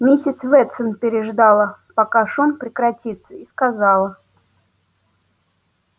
миссис ветсон переждала пока шум прекратится и сказала